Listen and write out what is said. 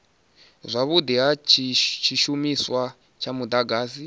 zwavhudi ha tshishumiswa tsha mudagasi